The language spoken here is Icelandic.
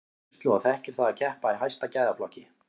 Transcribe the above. Hann hefur reynslu og þekkir það að keppa í hæsta gæðaflokki.